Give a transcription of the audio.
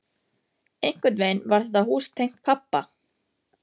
Einhvern veginn var þetta hús tengt pabba.